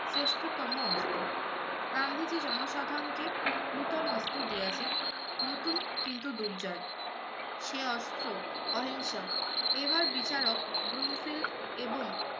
শ্রেষ্ঠতম অস্ত্র। গান্ধীজী জনসাথারণকে নতুন অস্ত্র দিয়াছেন, নতুন কিন্তু দুর্জয়। সে অস্ত্র অহিংসার। এবার বিচারক ব্রুনফিল্ড এবং